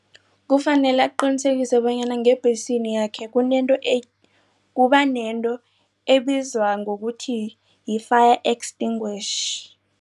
Kufanele aqinisekise bonyana ngebhesini yakhe kunento kubanento ebizwa ngokuthi yi-fire extinguisher.